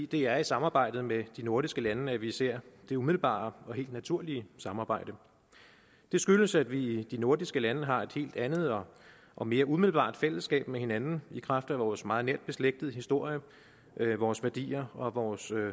det er i samarbejdet med de nordiske lande at vi ser det umiddelbare og helt naturlige samarbejde det skyldes at vi i de nordiske lande har et helt andet og og mere umiddelbart fællesskab med hinanden i kraft af vores meget nært beslægtede historie vores værdier og vores